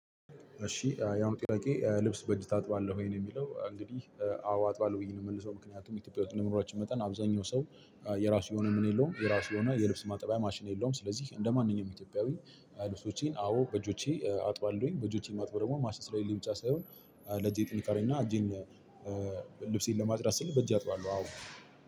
እሺ ያም ጥያቄ ልብስ በእጅ ታጥባለህ ወይ? ነው የሚለው እንግዲህ አዎ አጥባለሁ ብዬ ነው የምመልሰው ምክንያቱም ኢትዮጵያ ውስጥ የምኖራቸው መጠን አብዛኛው ሰው የራሱ የሆነ ምን የለውም የራሱ የሆነ የልብስ ማጠባይ ማሽን የለውም ስለዚህ እንደማንኛውም ኢትዮጵያዊ ልብሶቼን አዎ በእጆቼ አጥባለሁኝ። በእጆቼ ማጥበው ደግሞ ማሺን ስለለኝ ብቻ ሳይሆን ለጄ ጥንቃቄ እና እጄን ልብሴን ለማጽዳት ስል በጄ አጥባለሁ አዎ